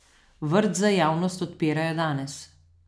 Vrt za javnost odpirajo danes.